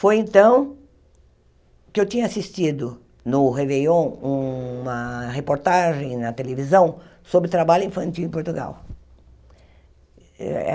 Foi então que eu tinha assistido no Réveillon uma reportagem na televisão sobre trabalho infantil em Portugal.